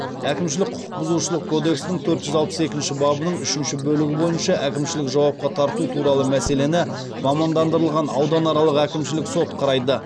әкімшілік құқық бұзушылық кодексінің төрт жүз алпыс екінші бабының үшінші бөлігі бойынша әкімшілік жауапқа тарту туралы мәселені мамандандырылған ауданаралық әкімшілік сот қарайды